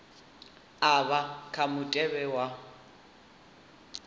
a vha kha mutevhe wa